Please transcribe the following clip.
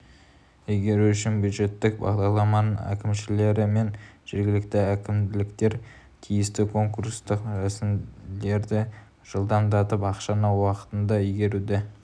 игеру үшін бюджеттік бағдарламалардың әкімшілері мен жергілікті әкімдіктер тиісті конкурстық рәсімдерді жылдамдатып ақшаны уақытында игеруді